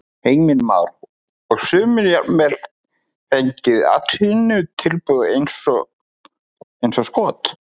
Heimir Már: Og sumir jafnvel fengið atvinnutilboð eins og skot?